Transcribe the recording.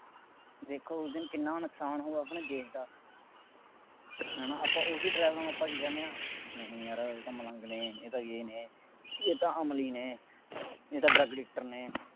ਦੇਖੋ ਉਸ ਦਿਨ ਕਿੰਨਾ ਨੁਕਸਾਨ ਹੋਊ ਆਪਣੇ ਦੇਸ਼ ਦਾ, ਹੈ ਨਾ ਆਪਾਂ ਉਹੀ ਡਰਾਈਵਰਾ ਨੂੰ ਆਪਾਂ ਕੀ ਕਹਿੰਦੇ ਹਾ, ਨਹੀਂ ਯਾਰ ਇਹ ਤਾਂ ਮਲੰਗ ਨੇ, ਇਹ ਤਾਂ ਯੇਹ ਨੇ, ਇਹ ਤਾਂ ਅਮਲੀ ਨੇ, ਇਹ ਤਾਂ drug addictor ਨੇ,